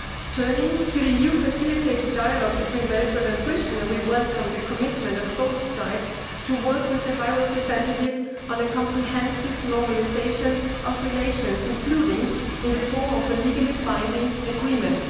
Turning to the EU facilitated dialogue between Belgrade and Pristina, we welcome the commitment of both sides to work with the High Representative on a comprehensive normalisation of relations, including in the form of a legally binding agreement.